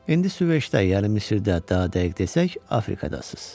İndi Süveyşdə, yəni Misirdə, daha dəqiq desək Afrikadasız.